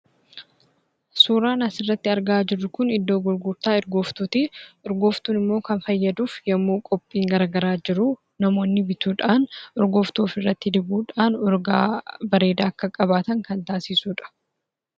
Suuraan asirratti argaa jirru kun iddoo gurgurtaa urgooftuuti. Urgooftuun immoo kan fayyaduuf yemmuu qophiin garaagaraa jiru namoonni bituudhaan urgooftuu ofirratti dibuudhaan urgaa bareedaa akka qabaatan kan taasisudha.